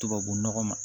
Tubabu nɔgɔ ma